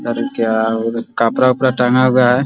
कपड़ा-उपड़ा टंगा हुआ है।